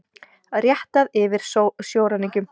Réttað yfir sjóræningjum